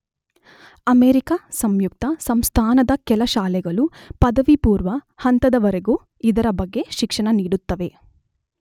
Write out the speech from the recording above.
America ಸಂಯುಕ್ತ ಸಂಸ್ಥಾನದ ಕೆಲ ಶಾಲೆಗಳು ಪದವಿಪೂರ್ವ ಹಂತದವರೆಗೂ ಇದರ ಬಗ್ಗೆ ಶಿಕ್ಷಣ ನೀಡುತ್ತವೆ.